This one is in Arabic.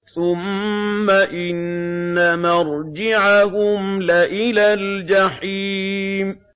ثُمَّ إِنَّ مَرْجِعَهُمْ لَإِلَى الْجَحِيمِ